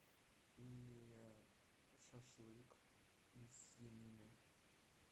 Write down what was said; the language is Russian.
и шашлык из свинины